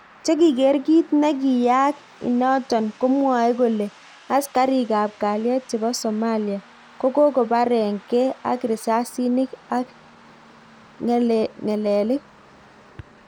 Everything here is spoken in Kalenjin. Chekinger kit nekiyaak inaton komwae kole askarik ap kaliet chepo Somalia kokoparenge ak risasinik ak ngelelik